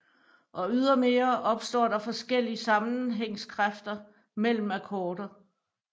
Og ydermere opstår der forskellig sammenhængskræfter mellem akkorder